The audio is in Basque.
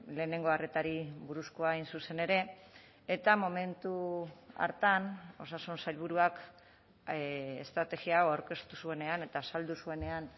lehenengo arretari buruzkoa hain zuzen ere eta momentu hartan osasun sailburuak estrategia hau aurkeztu zuenean eta azaldu zuenean